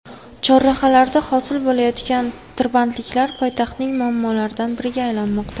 Chorrahalarda hosil bo‘layotgan tirbandliklar poytaxtning muammolaridan biriga aylanmoqda.